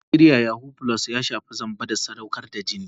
A Najeriya yahoo + ya shafi zamba da sadaukar da jini.